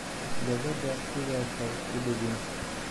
Gabadha sidaas ha isku dhibin.